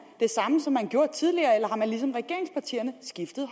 det samme som man gjorde tidligere eller har man ligesom regeringspartierne skiftet